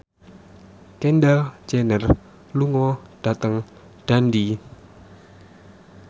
Kendall Jenner lunga dhateng Dundee